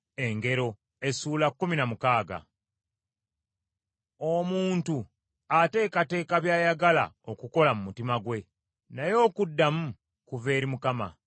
Omuntu ateekateeka by’ayagala okukola mu mutima gwe, Naye okuddamu kuva eri Mukama .